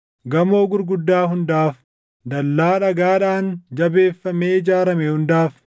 gamoo gurguddaa hundaaf, dallaa dhagaadhaan jabeeffamee ijaarame hundaaf,